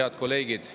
Head kolleegid!